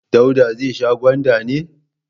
Dauda zai sha gwanda ne?